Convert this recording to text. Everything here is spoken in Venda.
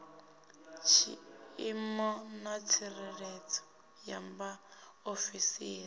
tshiimo na tsireledzo ya vhaofisiri